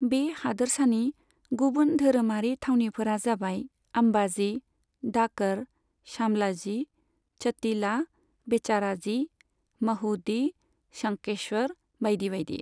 बे हादोरसानि गुबुन धोरोमारि थावनिफोरा जाबाय आम्बाजी, डाक'र, शामलाजी, च'टिला, बेचाराजी, महुदी, शंखेश्वर बायदि बायदि।